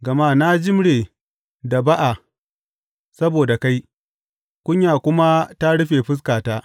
Gama na jimre da ba’a saboda kai, kunya kuma ta rufe fuskata.